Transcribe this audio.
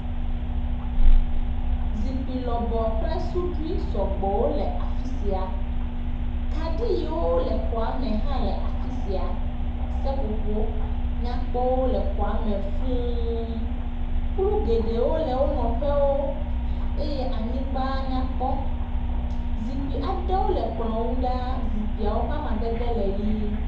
Zikpui lɔbɔ kple suɖui sɔgbɔwo le afi sia. Kaɖi yiwo le xɔa me hã le afi sia. Seƒoƒo nyakpɔwo le xɔa me fũu. Kplu geɖewo le wo nɔƒewo eye anyigba nya kpɔ. Zikpuiwo aɖe le kplɔ̃ ŋu ɖaa. Zikpuiwo ƒe amadede le ʋi.